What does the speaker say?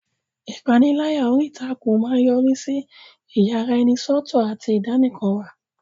Ìpániláyà orí ìtàkùn máa ń yọrí sí ìyaraẹnisọ́tọ̀ àti ìdánìkanwà.